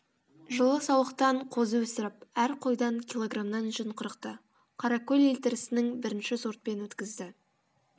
жылы саулықтан дан қозы өсіріп әр қойдан кг нан жүн қырықты қаракөл елтірісінің ын бірінші сортпен өткізді